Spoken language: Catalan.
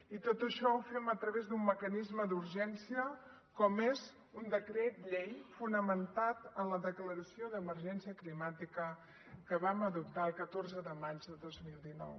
i tot això ho fem a través d’un mecanisme d’urgència com és un decret llei fonamentat en la declaració d’emergència climàtica que vam adoptar el catorze de maig de dos mil dinou